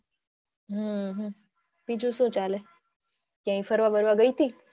હમ બીજું શું ચાલે ક્યાં ફરવા બરવા ગઈ તી.